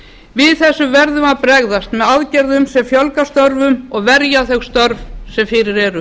við þessu verðum við að bregðast með aðgerðum sem fjölga störfum og verja þau störf sem fyrir eru